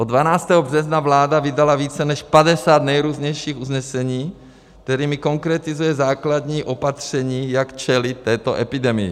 Od 12. března vláda vydala více než 50 nejrůznějších usnesení, kterými konkretizuje základní opatření, jak čelit této epidemii.